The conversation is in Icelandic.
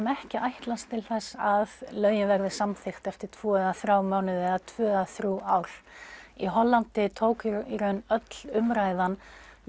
ekki að ætlast til þess að lögin verði samþykkt eftir tvo eða þrjá mánuði eða tvö eða þrjú ár í Hollandi tók í raun öll umræðan